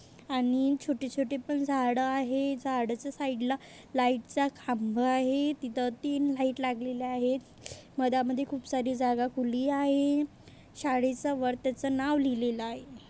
आणि छोटी-छोटी पण झाड आहे झाडच साइड ला लाइट च खांब आहेत इथ तीन लाइट लागलेल आहे मधा-मधी खूपसारी जागा खुली आहे शाळेचा वर त्याच नाव लिहल आहे.